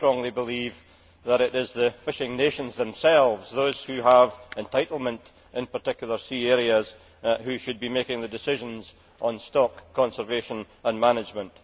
I strongly believe that it is the fishing nations themselves those who have entitlement in particular sea areas who should be making the decisions on stock conservation and management.